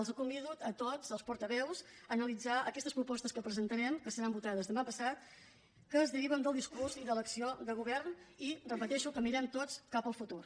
els convido a tots els portaveus a analitzar aquestes propostes que presentarem que seran votades demà passat que es deriven del discurs i de l’acció de govern i ho repeteixo que mirem tots cap al futur